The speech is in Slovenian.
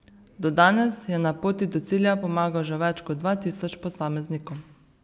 Do danes je na poti do cilja pomagal že več kot dva tisoč posameznikom.